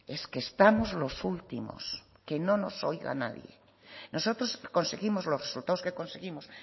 es que estamos los últimos que no nos oiga nadie nosotros conseguimos los resultados que conseguimos